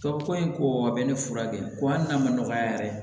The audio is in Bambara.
Ka ko in ko a bɛ ne furakɛ ko hali n'a ma nɔgɔya yɛrɛ